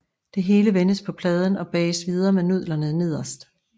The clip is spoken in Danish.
Det hele vendes på pladen og bages videre med nudlerne nederst